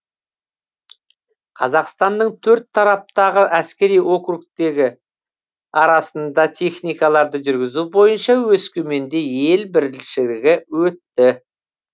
қазақстанның төрт тараптағы әскери округтері арасында техникаларды жүргізу бойынша өскеменде ел біріншілігі өтті